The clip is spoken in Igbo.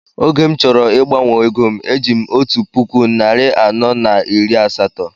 Oge m chọrọ ịgbanwe égóm e jim otu puku narị anọ na iri asatọ